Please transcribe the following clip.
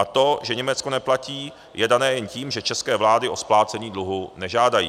A to, že Německo neplatí, je dané jen tím, že české vlády o splácení dluhu nežádají.